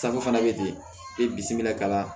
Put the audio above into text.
fana bɛ ten ne bisimila kabaa